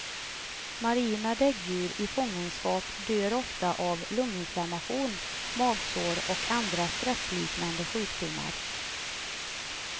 Marina däggdjur i fångenskap dör ofta av lunginflammation, magsår och andra stressliknande sjukdomar.